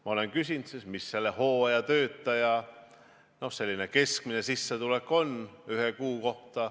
Ma olen küsinud, mis selle hooajatöötaja keskmine sissetulek on ühe kuu kohta.